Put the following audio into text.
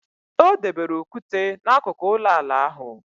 O debere okwute n' akụkụ ụlọala ahụ.